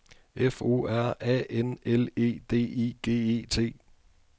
F O R A N L E D I G E T